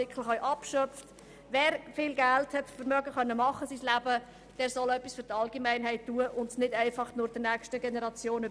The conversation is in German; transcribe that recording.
Wer in seinem Leben viel Geld erwerben konnte, soll etwas für die Allgemeinheit tun und dieses Geld nicht einfach an die nächste Generation weitergeben.